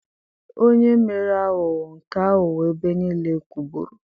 Onye mere aghụghọ nke aghụghọ ebe niile kwụgburu